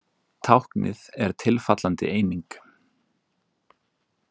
Táknið er tilfallandi eining.